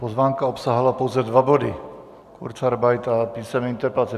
Pozvánka obsahovala pouze dva body - kurzarbeit a písemné interpelace.